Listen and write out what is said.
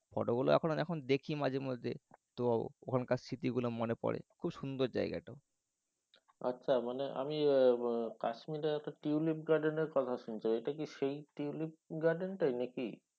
photo গুলো এখনও যখন দেখি মাঝে মাঝে তো ওখানকার স্মৃতিগুলো মনে পরে। খুব সুন্দর জায়গাটা। আচ্ছা মানে আমি কাশ্মিরের একটা tulip garden এরকথা শুনেছি। এটা কি সেই tulip garden টাই?